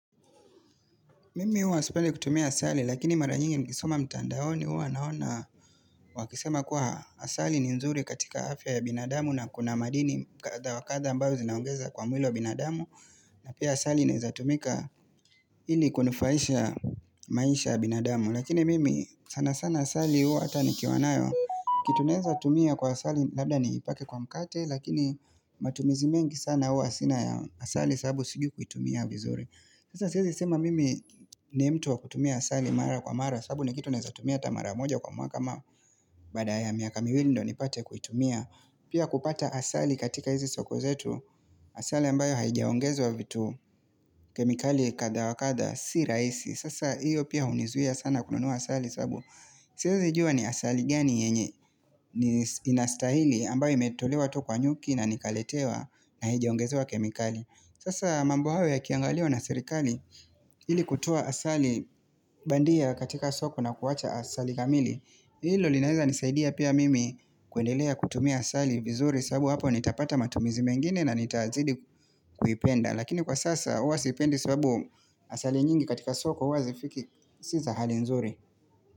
Mimi huwa sipendi kutumia asali lakini mara nyingi nikisoma mtandaoni huwa naona wakisema kuwa asali ni nzuri katika afya ya binadamu na kuna madini kadha wakadha ambao zinaongeza kwa mwili wa binadamu na pia asali inaeza tumika ili kunufaisha maisha ya binadamu. Lakini mimi sana sana asali huwa hata ni kiwanayo kitu naeza tumia kwa asali labda ni ipake kwa mkate lakini matumizi mengi sana huwa sina ya asali sababu sijui kuitumia vizuri. Sasa siezi sema mimi ni mtu wa kutumia asali mara kwa mara sababu ni kitu naezatumia hata mara moja kwa mwaka ama Baada ya miaka miwili ndio ni pate kuitumia Pia kupata asali katika hizi soko zetu Asali ambayo haijiaongezwa vitu kemikali kadha wakadha si rahisi Sasa iyo pia hunizuia sana kununua asali sababu Siezijua ni asali gani yenye ni inastahili ambayo imetolewa tu kwa nyuki na nikaletewa na haijiaongezewa kemikali Sasa mambo hayo yakiangaliwa na sirikali ili kutoa asali bandia katika soko na kuwacha asali kamili Hilo linaeza nisaidia pia mimi kuendelea kutumia asali vizuri sababu hapo nitapata matumizi mengine na nitazidi kuipenda Lakini kwa sasa huwa siipendi sababu asali nyingi katika soko huwa zifiki Si za hali nzuri.